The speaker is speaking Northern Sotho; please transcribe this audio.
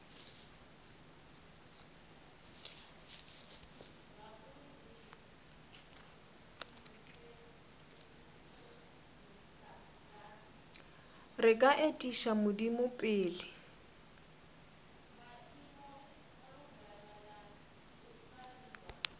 re ka etiša modimo pele